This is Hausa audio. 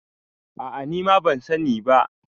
a a nima ban sani ba